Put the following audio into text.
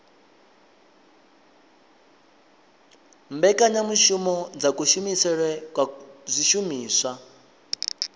mbekanyamushumo dza kushumisele kwa zwishumiswa